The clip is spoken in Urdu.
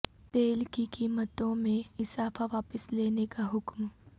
تیل کی قیمتوں میں اضافہ واپس لینے کا حکم